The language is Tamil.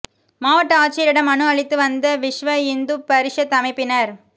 மாவட்ட ஆட்சியரிடம் மனு அளித்து வந்த விஸ்வ இந்து பரிஷத் அமைப்பினா்